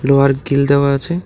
লোহার গিল দেওয়া আছে।